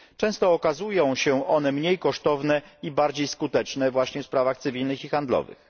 Często okazują się one mniej kosztowne i bardziej skuteczne właśnie w sprawach cywilnych i handlowych.